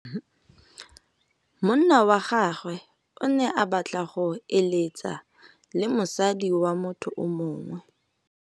Monna wa gagwe o ne a batla go êlêtsa le mosadi wa motho yo mongwe.